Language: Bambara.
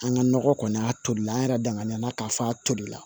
An ka nɔgɔ kɔni a tolili la an yɛrɛ danŋana k'a fɔ a tolila